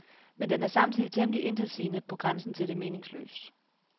Men den er samtidig temmelig intetsigende, på grænsen til det meningsløse.